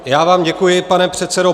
Já vám děkuji, pane předsedo.